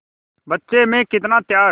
बच्चे में कितना त्याग